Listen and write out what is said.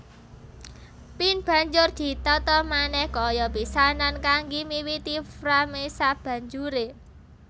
Pin banjur ditata manèh kaya pisanan kanggi miwiti frame sabanjure